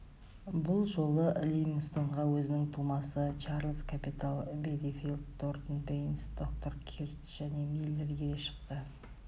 бұл жолы ливингстонға өзінің тумасы чарльз капитал бединфилд тортон бейнс доктор кирк және миллер ере шықты